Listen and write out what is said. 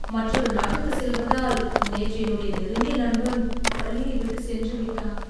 மற்றொரு நாட்டுக்கு செல்வதால் நேற்று என்னுடைய நெருங்கிய நண்பன் பள்ளியை விட்டு சென்று விட்டான்.